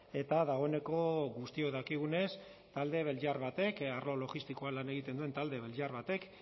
eta dagoeneko guztiok dakigunez talde belgiar batek arlo logistikoan lan egiten duen talde belgiar batek